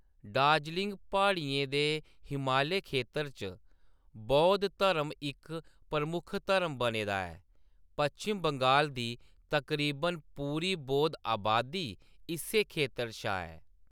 दार्जिलिंग प्हाड़ियें दे हिमालय खेतर च बौद्ध धर्म इक प्रमुख धर्म बने दा ऐ; पश्चिम बंगाल दी तकरीबन पूरी बौद्ध अबादी इस्सै खेतर शा ऐ।